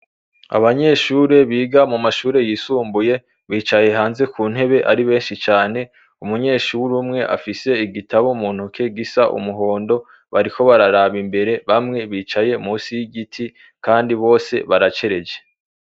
Abanyeshure biga mu mashure yisumbuye bicaye hanze ku ntebe ari benshi cane umunyeshuri umwe afise igitabo muntu ke gisa umuhondo bariko bararaba imbere bamwe bicaye musi y'igiti, kandi bose baracereje.